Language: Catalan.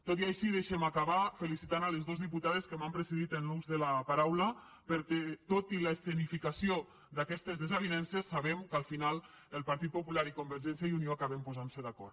tot i així deixe’m acabar felicitant les dos diputades que m’han precedit en l’ús de la paraula perquè tot i l’escenificació d’aquestes desavinences sabem que al final el partit popular i convergència i unió acaben posant·se d’acord